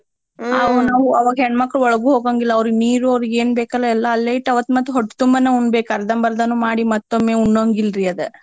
ನಾವ್ ಹೆಣ್ಮಕ್ಳ ಒಳ್ಗು ಹೋಗಂಗಿಲ್ಲಾ ಅವ್ರಗ್ ನೀರು ಅವ್ರಗ್ ಏನ್ ಬೇಕಲ್ಲಾ ಎಲ್ಲಾ ಅಲ್ಲೇ ಇಟ್ಟು ಅವತ್ ಮತ್ ಹೊಟ್ತುಂಬನ ಊಣ್ಬೆಕ್ ಅರ್ದಂಬರ್ದಾನೂ ಮಾಡೀ ಮತ್ತೊಮ್ಮೆ ಊಣೋಂಗಿಲ್ರಿ ಅದ್.